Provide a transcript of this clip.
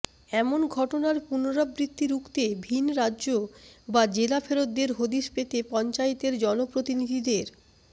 এমন ঘটনার পুনরাবৃত্তি রুখতে ভিন্ রাজ্য বা জেলা ফেরতদের হদিশ পেতে পঞ্চায়েতের জনপ্রতিনিধিদের